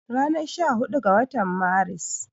Ranar sha hudu ga watan Maris